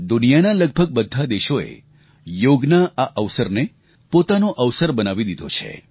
દુનિયાના લગભગ બધા દેશોએ યોગના આ અવસરને પોતાનો અવસર બનાવી દીધો છે